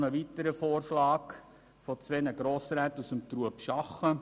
Ein weiterer Vorschlag wurde von zwei Grossräten aus Trubschachen eingereicht.